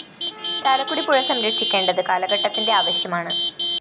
ചാലക്കുടി പുഴ സംരക്ഷിക്കേണ്ടത് കാലഘട്ടത്തിന്റെ ആവശ്യമാണ്